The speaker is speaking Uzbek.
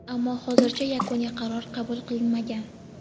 ammo hozircha yakuniy qaror qabul qilinmagan.